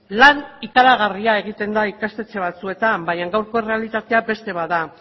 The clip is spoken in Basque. lan ikaragarria egiten da ikastetxe batzuetan baina gaurko errealitatea beste bat da